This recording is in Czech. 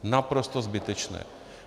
Naprosto zbytečné.